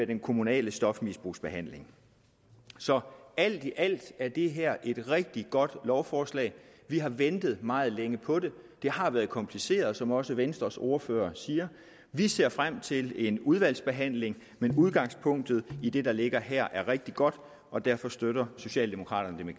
den kommunale stofmisbrugsbehandling så alt i alt er det her et rigtig godt lovforslag vi har ventet meget længe på det det har været kompliceret som også venstres ordfører siger vi ser frem til en udvalgsbehandling men udgangspunktet i det der ligger her er rigtig godt og derfor støtter socialdemokraterne